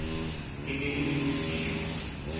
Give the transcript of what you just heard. e ne e le bosiu